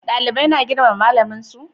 Dalibai na girmama malamin su?